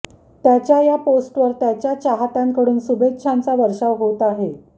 त्याच्या या पोस्टवर त्याच्या चाहत्यांकडून शुभेच्छांचा वर्षावर होत आहे